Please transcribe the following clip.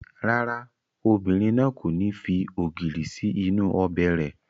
Rárá, obìnrin náà kò ní fi ògìrì sí inú ọbẹ̀ rẹ̀